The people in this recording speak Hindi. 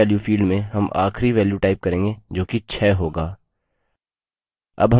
end value field में हम आखिरी value type करेंगे जो कि 6 होगा